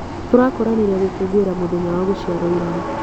Tũrakoranire gũkũngũĩra mũthenya wa gũciarwo ira.